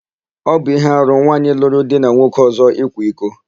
Ọ bụ íhé arụ nwaanyị lụrụ di na nwoke ọ̀zọ́ ịkwa iko.